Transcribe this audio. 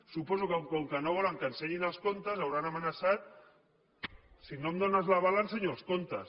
suposo que com que no volen que ensenyin els comptes els deuen haver amenaçat si no em dónes l’aval ensenyo els comptes